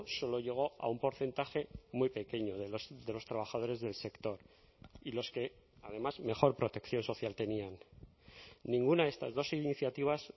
solo llegó a un porcentaje muy pequeño de los trabajadores del sector y los que además mejor protección social tenían ninguna de estas dos iniciativas